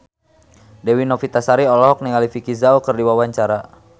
Dewi Novitasari olohok ningali Vicki Zao keur diwawancara